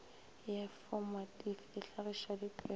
ya fomatifi e hlagiša dipego